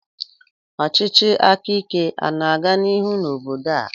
Ọchịchị aka ike ana-aga n'ihu na obodo a?